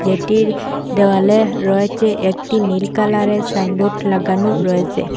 এটির দেওয়ালে রয়েছে একটি নীল কালারের সাইনবোট লাগানো রয়েছে।